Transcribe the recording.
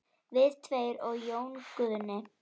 Við tveir og Jón Guðni.